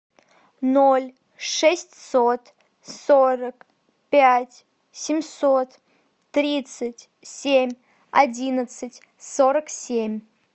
ноль шестьсот сорок пять семьсот тридцать семь одиннадцать сорок семь